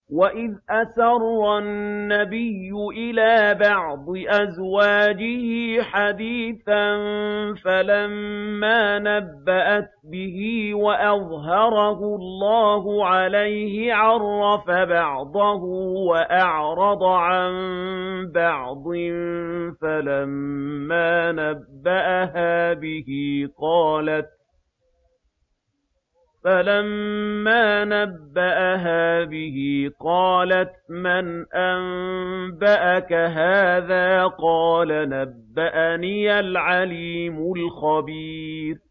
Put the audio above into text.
وَإِذْ أَسَرَّ النَّبِيُّ إِلَىٰ بَعْضِ أَزْوَاجِهِ حَدِيثًا فَلَمَّا نَبَّأَتْ بِهِ وَأَظْهَرَهُ اللَّهُ عَلَيْهِ عَرَّفَ بَعْضَهُ وَأَعْرَضَ عَن بَعْضٍ ۖ فَلَمَّا نَبَّأَهَا بِهِ قَالَتْ مَنْ أَنبَأَكَ هَٰذَا ۖ قَالَ نَبَّأَنِيَ الْعَلِيمُ الْخَبِيرُ